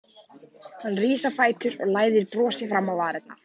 Hann rís á fætur og læðir brosi fram á varirnar.